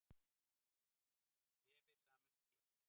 Vefir sameinast í einn